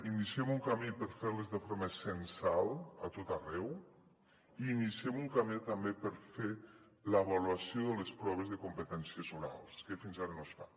iniciem un camí per fer les de forma censal a tot arreu i iniciem un camí també per fer l’avaluació de les proves de competències orals que fins ara no es fan